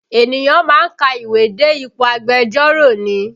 Ènìyàn má ń ka ìwé dé ipò agbẹjọ́rò ni